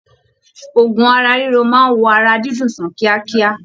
Òògùn ara riro máa wò ara dídùn sàn kíákíá.